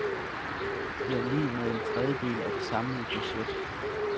Det er lig med en trediedel af det samlede budget.